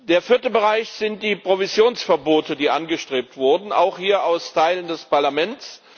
Der vierte Bereich sind die Provisionsverbote, die angestrebt wurden, auch hier aus Teilen des Parlaments.